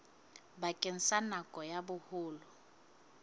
bakeng sa nako ya boholo